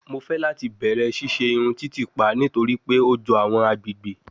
Mo fẹ lati bẹrẹ ṣiṣe irun titipa nitori pe o jọ awọn agbegbe